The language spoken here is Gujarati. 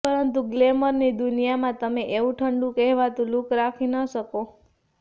પરંતુ ગ્લેમરની દુનિયામાં તમે એવું ઠંડું કહેવાતું લૂક રાખી ન શકો